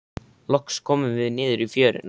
Loks komum við niður í fjöruna.